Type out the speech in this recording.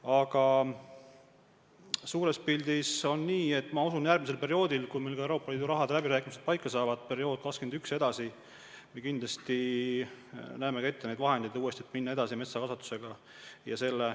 Aga suures pildis on nii, et kui Euroopa Liidu rahade läbirääkimised paika on saanud, siis järgmisel perioodil alates aastast 2021 ja sellest edasi me kindlasti saame kasutada ka neid vahendeid, et metsataimede kasvatusega edasi minna.